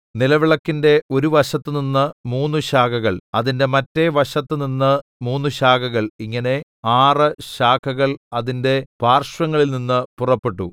നിലവിളക്കിന്റെ ഒരു വശത്തുനിന്ന് മൂന്ന് ശാഖകൾ അതിന്റെ മറ്റെ വശത്ത് നിന്ന് മൂന്ന് ശാഖകൾ ഇങ്ങനെ ആറ് ശാഖകൾ അതിന്റെ പാർശ്വങ്ങളിൽനിന്ന് പുറപ്പെട്ടു